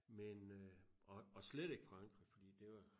Men øh og og slet ikke Frankrig fordi det var